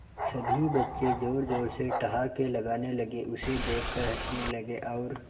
सभी बच्चे जोर जोर से ठहाके लगाने लगे उसे देख कर हंसने लगे और